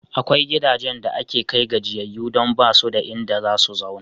Akwai gidajen da ake kai gajiyayyu don ba su da inda za su zauna.